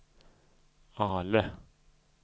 Ale